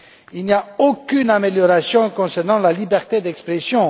Il n'y a aucune amélioration concernant la liberté d'expression.